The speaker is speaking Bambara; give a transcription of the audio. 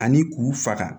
Ani k'u faga